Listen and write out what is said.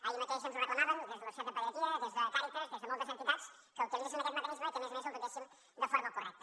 ahir mateix ens ho reclamaven des de la societat de pediatria des de càritas des de moltes entitats que utilitzen aquest mecanisme i que a més a més el dotéssim de forma correcta